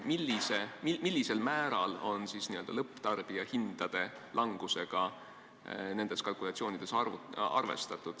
Millisel määral n-ö lõpptarbija hindade langusega on nendes kalkulatsioonides arvestatud?